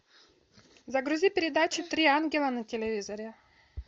загрузи передачу три ангела на телевизоре